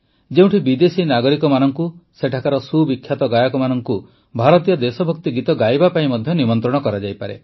ଯେଉଁଠି ବିଦେଶୀ ନାଗରିକମାନଙ୍କୁ ସେଠାକାର ସୁବିଖ୍ୟାତ ଗାୟକମାନଙ୍କୁ ଭାରତୀୟ ଦେଶଭକ୍ତି ଗୀତ ଗାଇବା ପାଇଁ ନିମନ୍ତ୍ରଣ କରାଯାଇପାରେ